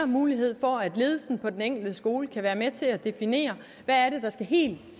mulighed for at ledelsen på den enkelte skole kan være med til at definere hvad der helt